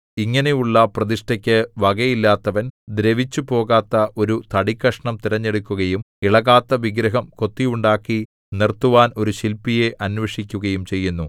ഇങ്ങിനെയുള്ള പ്രതിഷ്ഠയ്ക്കു വകയില്ലാത്തവൻ ദ്രവിച്ചുപോകാത്ത ഒരു തടിക്കഷണം തിരഞ്ഞെടുക്കുകയും ഇളകാത്ത വിഗ്രഹം കൊത്തിയുണ്ടാക്കി നിർത്തുവാൻ ഒരു ശില്പിയെ അന്വേഷിക്കുകയും ചെയ്യുന്നു